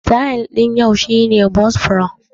Sityl ɗin yau shi ne bos braid